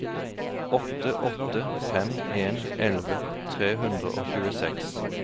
åtte åtte fem en elleve tre hundre og tjueseks